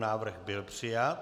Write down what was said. Návrh byl přijat.